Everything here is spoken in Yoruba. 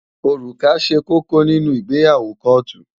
Òrùka ṣe kókó nínú ìgbéyàwó kóòtù.